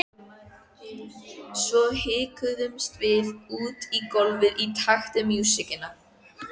Svo hikstuðumst við út á gólfið í takt við músíkina.